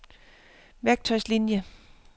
værktøjslinier